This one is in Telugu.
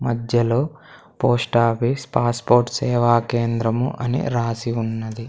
మధ్యలో పోస్ట్ ఆఫీస్ పాస్పోర్ట్ సేవా కేంద్రము అని రాసి ఉన్నది.